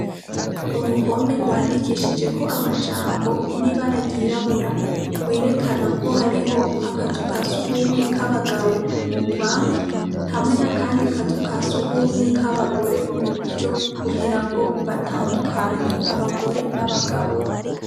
Uruhome gwandikishijeko amajambo n' ibara ryirabura gwerekana aho ariho akazu ka sugumwe k'akabagabo mu bubamfu hamwe n' akandi kazu ka sugumwe iburyo kugira ngo batandukanye abagore n' abagabo.